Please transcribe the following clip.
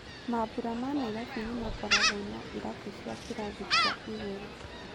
Mambũra ma Nairobi nĩmakoragwo na irabu cia kĩrathi kĩa igũrũ.